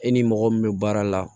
E ni mɔgɔ min be baara la